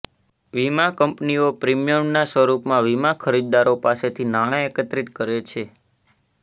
વીમા કંપનીઓ પ્રિમીયમના સ્વરૂપમાં વીમા ખરીદદારો પાસેથી નાણાં એકત્રિત કરે છે